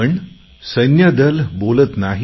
पण सैन्यदल बोलत नाही